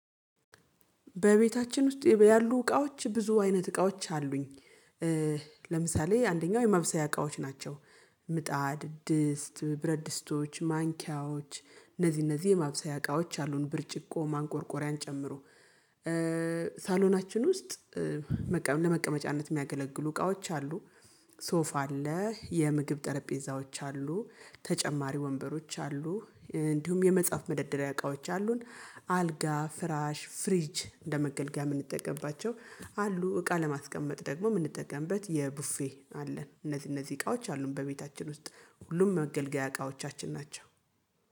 በቤታችን ውስጥ ያሉ እቃዎች ብዙ አይነት እቃዎች አሉኝ። ለምሳሌ አንደኛው የማብሰያ እቃዎች ናቸው። ምጣድ ድስት ብረድ ድስቶች ማንኪያዎች እነዚህ እነዚህ የማብሰያ እቃዎች አሉን ብርጭቆ ማንቆርቆሪያን ጨምሮ። ሳሎናችን ውስጥ ለመቀመጫነት የሚያገለግሉ እቃዎች አሉ። ሶፋ አለ የምግብ ጠረጴዛዎች አሉ ተጨማሪ ወንበሮች አሉ። እንዲሁም የመጽሐፍ መደርደሪያ እቃዎች አሉን አልጋ ፍራሽ ፍሪጅ እንደመገልገል የምንጠቀምባቸው አሉ እቃ ለማስቀመጥ ደግሞ የምንጠቀምበት የቡፌ አለን። እነዚህ እነዚህ እቃዎች አሉን በቤታችን ውስጥ ሁሉም መገልገያ እቃዎቻችን ናቸው።